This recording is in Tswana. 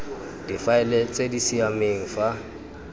difaeleng tse di siameng fa